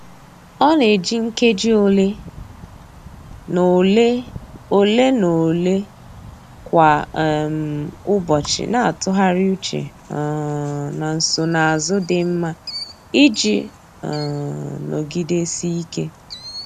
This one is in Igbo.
Ọ na-eji nkeji ole na ole ole na ole kwa um ụbọchị na-atụgharị uche um na nsonazụ dị mma iji um nọgidesike.